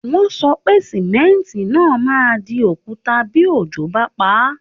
Wọ́n sọ pé Símẹ́ńtì náà máa di òkúta bí òjò bá paá